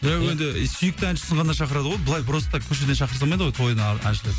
ия енді сүйікті әншісін ғана шақырады ғой былай просто так көшеден шақыра салмайды ғой тойына әншіні